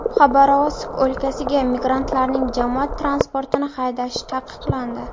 Xabarovsk o‘lkasida migrantlarning jamoat transportini haydashi taqiqlandi.